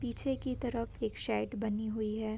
पीछे की तरफ एक सेट बनी हुई है।